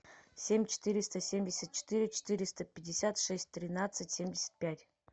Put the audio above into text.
семь четыреста семьдесят четыре четыреста пятьдесят шесть тринадцать семьдесят пять